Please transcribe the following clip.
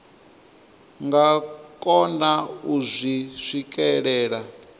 nga kona u zwi swikelela